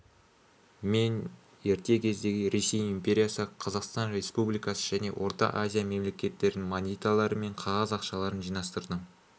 мен ерте кездегі ресей империясы қазақстан республикасы және орта азия мемлекеттерінің монеталары мен қағаз ақшаларын жинастырдым